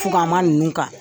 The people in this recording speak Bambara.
Fuganma ninnu k'a la.